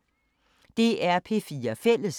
DR P4 Fælles